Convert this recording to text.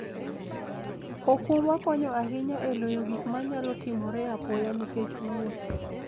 okumba konyo ahinya e loyo gik manyalo timore apoya nikech wuoth.